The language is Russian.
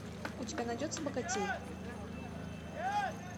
у тебя найдется богатей